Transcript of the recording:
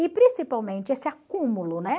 E principalmente esse acúmulo, né?